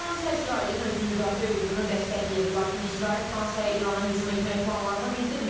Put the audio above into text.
Fransa İsrailin özünü müdafiə hüququnu dəstəkləyib, lakin İsrail Fransaya İrana hücum etmək planlarını bildirməyib.